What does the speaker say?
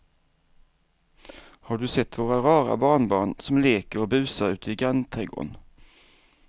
Har du sett våra rara barnbarn som leker och busar ute i grannträdgården!